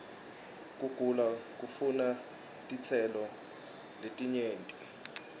kugula kufuna titselo ietinyenti